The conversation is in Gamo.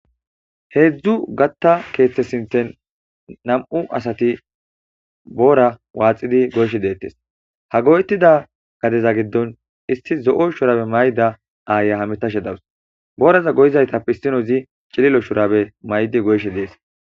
heedzdzu gatta keethte sinten nam'u asati boora waaxidi goyshe deettes ha goytida gadeza giddon isti zo'o shurabe mayda aaya hametashe dawus booraza goyizaytap issinozi cililo shurabe maydi goyshe dees